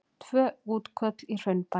Tvö útköll í Hraunbæ